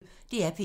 DR P1